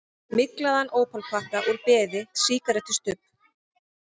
Myglaðan ópalpakka úr beði, sígarettustubb.